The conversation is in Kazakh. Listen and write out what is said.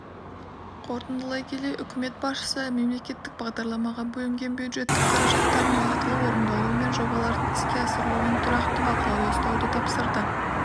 қортындылай келе үкімет басшысы мемлекеттік бағдарламаға бөлінген бюджеттік қаражаттардың уақытылы орындалуы мен жобалардың іске асырылуын тұрақты бақылауда ұстауды тапсырды